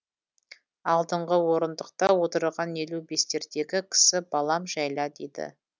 алдыңғы орындықта отырған елу бестердегі кісі балам жәйла дейді